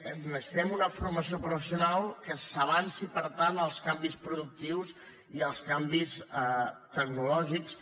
necessitem una formació professional que s’avanci per tant als canvis productius i als canvis tecnològics